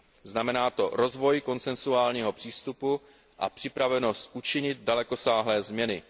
Znamená to rozvoj konsensuálního přístupu a připravenost učinit dalekosáhlé změny.